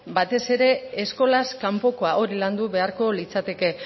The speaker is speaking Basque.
batez ere eskolaz kanpokoa hori landu beharko litzateke